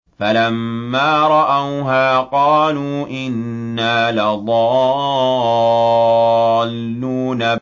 فَلَمَّا رَأَوْهَا قَالُوا إِنَّا لَضَالُّونَ